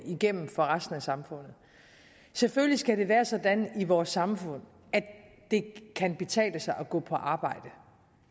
igennem for resten af samfundet selvfølgelig skal det være sådan i vores samfund at det kan betale sig at gå på arbejde